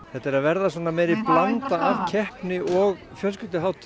þetta er að verða meiri blanda af keppni og fjölskylduhátíð